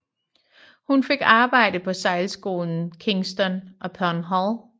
Hun fik arbejde på sejlskolen Kingston upon Hull